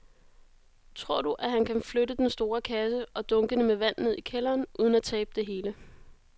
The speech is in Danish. Tror du, at han kan flytte den store kasse og dunkene med vand ned i kælderen uden at tabe det hele?